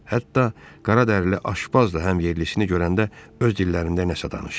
Hətta qaradərili aşpazla həm yerlisini görəndə öz dillərində nəsə danışdı.